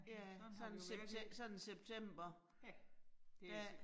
Sådan sådan september. Dér